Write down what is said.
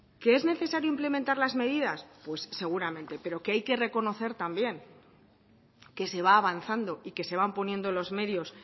qué es necesario implementarlas medidas pues seguramente pero que hay que reconocer también que se va avanzando y que se van poniendo los medios